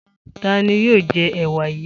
Ta ni yóò jẹ ẹ̀wà yìí?